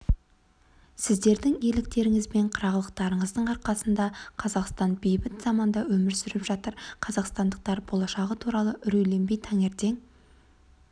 сіздердің ерліктеріңіз бен қырағылықтарыңыздың арқасында қазақстан бейбіт заманда өмір сүріп жатыр қазақстандықтар болашағы туралы үрейленбей таңертең